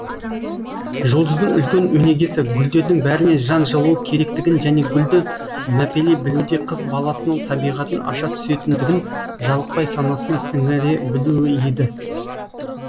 жұлдыздың үлкен өнегесі гүлдердің бәріне жан жылуы керектігін және гүлді мәпелей білуде қыз баласының табиғатын аша түсетіндігін жалықпай санасына сіңіре білуі еді